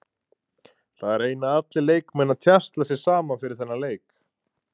Það reyna allir leikmenn að tjasla sér saman fyrir þennan leik.